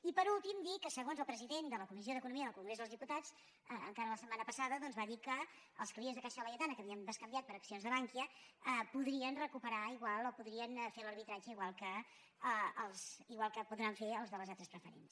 i per últim dir que segons el president de la comissió d’economia del congrés dels diputats encara la setmana passada va dir que els clients de caixa laietana que havien bescanviat per accions de bankia podrien recuperar igual o podrien fer l’arbitratge igual que podran fer els de les altres preferents